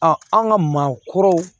an ka maakɔrɔw